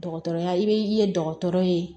Dɔgɔtɔrɔya i bɛ ye dɔgɔtɔrɔ ye